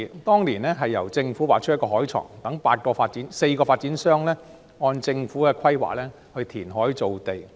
當年由政府劃出海床，讓4個發展商按政府規劃填海造地。